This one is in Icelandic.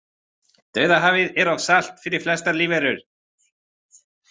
Dauðahafið er of salt fyrir flestar lífverur.